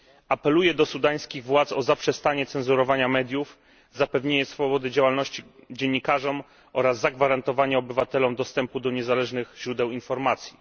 Apeluję do sudańskich władz o zaprzestanie cenzurowania mediów, zapewnienie swobody działalności dziennikarzom oraz zagwarantowanie obywatelom dostępu do niezależnych źródeł informacji.